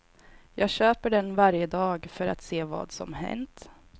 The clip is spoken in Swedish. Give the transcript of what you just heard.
Jag köper den varje dag för att se vad som hänt.